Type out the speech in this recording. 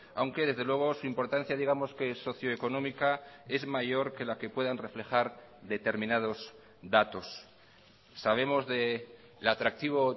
aunque desde luego su importancia digamos que socio económica es mayor que la que puedan reflejar determinados datos sabemos del atractivo